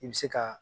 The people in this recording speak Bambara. I bɛ se ka